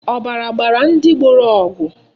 Ọbara gbara ndị gboro ọgụ.